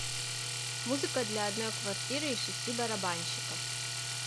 музыка для одной квартиры и шести барабанщиков